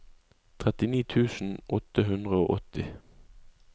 trettini tusen åtte hundre og åtti